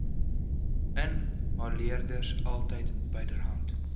inhaleerders altyd byderhand